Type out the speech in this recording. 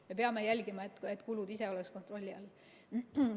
Me peame jälgima, et kulud ise oleks kontrolli all.